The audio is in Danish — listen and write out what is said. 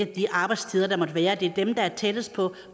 de arbejdstider der måtte være det er dem der er tættest på